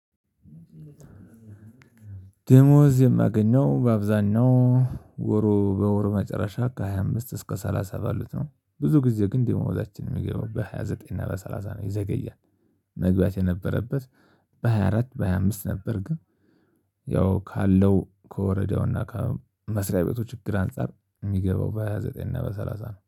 ደሞዝ የማገኘው በአብዛኛው ወሩ በወር መጨረሻ ከሃያ አምስት እስከ ሰላሳ ባሉት ነው። ብዙ ጊዜ ግን ደግሞዛቻችን የሚገባው በሃያ ዘጠኝ እና በሰላሳ ነው ይዘገያል። መግባት የነበረበት በሃያ አራት በሃያ አምስት ነበር። ግን ያው ካለው ከወረዳውና ከመስሪያ ቤቱ ችግር አንፃር የሚገባው በሃያ ዘጠኝ እና በሰላሳ ነው